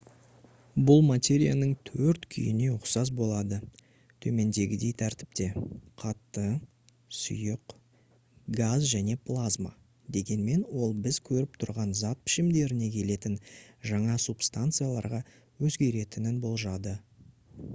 бұл материяның төрт күйіне ұқсас болды төмендегідей тәртіпте: қатты сұйық газ және плазма дегенмен ол біз көріп тұрған зат пішімдеріне келетін жаңа субстанцияларға өзгеретінін болжады